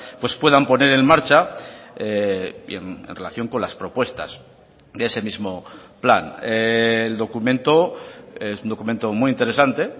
pues puedan poner en marcha en relación con las propuestas de ese mismo plan el documento es un documento muy interesante